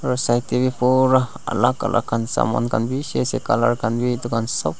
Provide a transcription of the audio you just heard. side tey beh bura alak alak khan saman khan beshe ase colour khan beh etu khan sop.